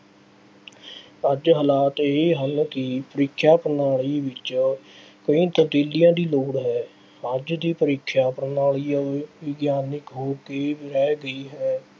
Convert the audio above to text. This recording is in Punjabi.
ਅੱਜ ਹਾਲਾਤ ਇਹ ਹਨ ਕਿ ਪ੍ਰੀਖਿਆ ਪ੍ਰਣਾਲੀ ਵਿੱਚ ਕਈ ਤਬਦੀਲੀਆਂ ਦੀ ਲੋੜ ਹੈ। ਅੱਜ ਦੀ ਪ੍ਰੀਖਿਆ ਪ੍ਰਣਾਲੀ ਇਉਂ ਵਿਗਿਆਨਕ ਹੋ ਕੇ ਰਹਿ ਗਈ ਹੈ।